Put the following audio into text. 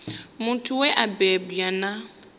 muthu we a bebwa na